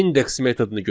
Index metodunu götürək.